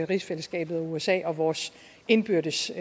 rigsfællesskabet usa og vores indbyrdes